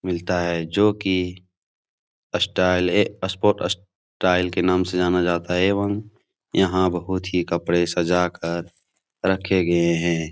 मिलता है जो की स्टाइल ए सपोर्ट स्टाइल के नाम से जाना जाता है एवं यहाँ बहुत ही कपड़े सजाकर रखे गए हैं ।